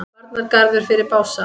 Varnargarður fyrir Bása